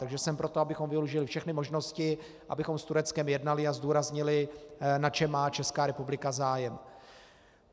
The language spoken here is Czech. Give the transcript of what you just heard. Takže jsem pro to, abychom využili všechny možnosti, abychom s Tureckem jednali a zdůraznili, na čem má Česká republika zájem.